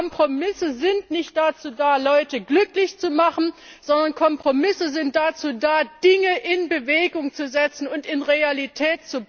Kompromisse sind nicht dazu da, Leute glücklich zu machen, sondern sie sind dazu da, Dinge in Bewegung zu setzen und zu realisieren.